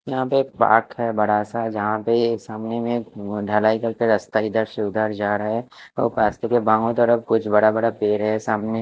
यहाँ पे पाथ हैं बड़ा सा जहाँ पे सामने में ढलाई कर के रास्ता इधर से उधर जा रहा हैं और रास्ते पे बाए तरफ कुछ बड़ा बड़ा पेड़ हैं सामने--